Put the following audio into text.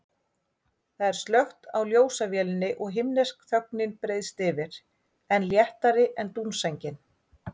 Það er slökkt á ljósavélinni og himnesk þögnin breiðist yfir, enn léttari en dúnsængin.